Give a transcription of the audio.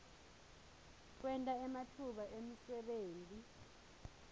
kwenta ematfuba emsebenti